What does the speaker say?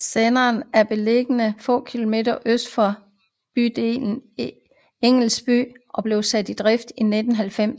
Senderen er beliggende få kilometer øst for bydelen Engelsby og blev sat i drift i 1990